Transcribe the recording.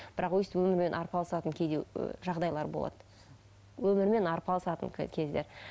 бірақ өстіп өмірмен арпалысатын кейде жағдайлар болады өмірмен арпалысатын кездер